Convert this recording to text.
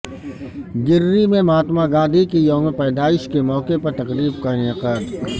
گرری میں مہاتما گاندھی کے یوم پیدائش کے موقع پر تقریب کا انعقاد